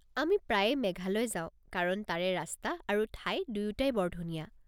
আমি প্ৰায়ে মেঘালয় যাওঁ কাৰণ তাৰে ৰাস্তা আৰু ঠাই দুয়োটাই বৰ ধুনীয়া।